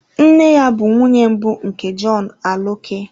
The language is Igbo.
Nne ya bụ nwunye mbụ nke John Aloke.